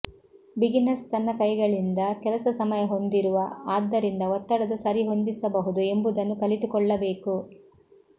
beginners ತನ್ನ ಕೈಗಳಿಂದ ಕೆಲಸ ಸಮಯ ಹೊಂದಿರುವ ಆದ್ದರಿಂದ ಒತ್ತಡದ ಸರಿಹೊಂದಿಸಬಹುದು ಎಂಬುದನ್ನು ಕಲಿತುಕೊಳ್ಳಬೇಕು